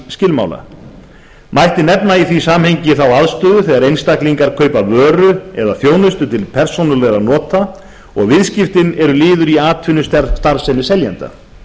samningsskilmála mætti nefna í því samhengi þá aðstöðu þegar einstaklingar kaupa vöru eða þjónustu til persónulegra nota og viðskiptin eru liður í atvinnustarfsemi seljanda